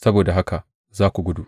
Saboda haka za ku gudu!